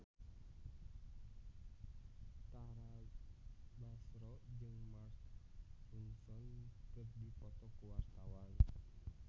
Tara Basro jeung Mark Ronson keur dipoto ku wartawan